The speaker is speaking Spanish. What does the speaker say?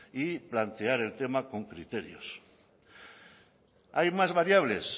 y plantear el tema con criterios hay más variables